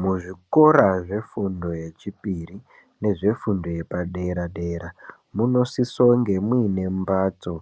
Muzvikora zvefundo yechipiri nezvefundo yepadera dera munosisa kunge mune mbatso